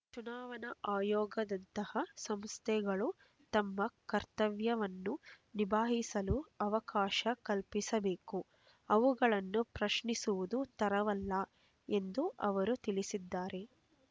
ಚುನಾವಣಾ ಆಯೋಗದಂತಹ ಸಂಸ್ಥೆಗಳು ತಮ್ಮ ಕರ್ತವ್ಯವನ್ನು ನಿಭಾಯಿಸಲು ಅವಕಾಶ ಕಲ್ಪಿಸಬೇಕು ಅವುಗಳನ್ನು ಪ್ರಶ್ನಿಸುವುದು ತರವಲ್ಲ ಎಂದು ಅವರು ತಿಳಿಸಿದ್ದಾರೆ